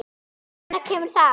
Og hvenær kemur það?